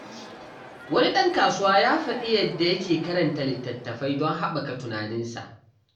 Wani ɗan kasuwa ya faɗi yadda yake karanta littattafai don haɓaka tunaninsa.